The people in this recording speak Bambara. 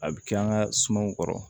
A bɛ kɛ an ka sumanw kɔrɔ